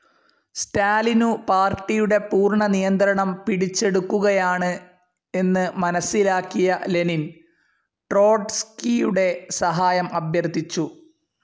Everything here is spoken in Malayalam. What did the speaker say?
സ്റ്റാലിനു പാർട്ടിയുടെ പൂർണ നിയന്ത്രണം പിടിച്ചെടുക്കുകയാണ് എന്ന് മനസ്സിലാക്കിയ ലെനിൻ ട്രോട്സ്കിയുടെ സഹായം അഭ്യർത്ഥിച്ചു.